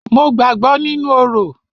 Mo gbàgbọ́ nínú orò.